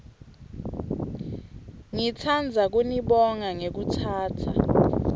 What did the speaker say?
ngitsandza kunibonga ngekutsatsa